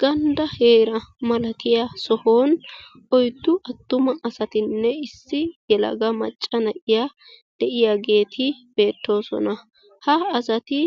Gandda heera malatiya sohuwan oyddu attuma asatinne issi yelaga macca na'iya de'iyaageeti beettoosona. Ha asati